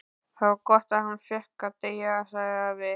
Það var gott að hann fékk að deyja sagði afi.